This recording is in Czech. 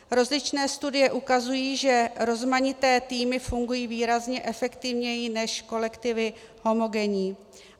Rozličné studie ukazují, že rozmanité týmy fungují výrazně efektivněji než kolektivy homogenní.